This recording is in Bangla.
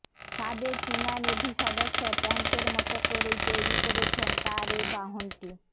সাবেক চীনা নেভি সদস্য ট্যাংকের মতো করেই তৈরি করেছেন তার এ বাহনটি